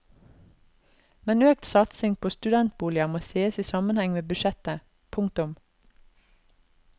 Men økt satsing på studentboliger må sees i sammenheng med budsjettet. punktum